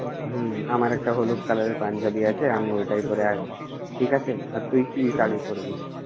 হমম, আমার একটা হলুদ color এর পাঞ্জাবী আছে, আমি ওইটাই পড়ে আসব ঠিক আছে। আর তুই কি শাড়ী পড়বি?